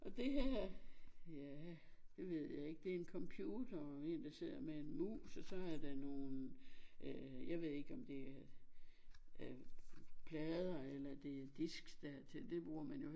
Og det her ja det ved jeg ikke det en computer og en der sidder med en mus og så er der nogen øh jeg ved ikke om det er øh plader eller det er disks der er til det bruger man jo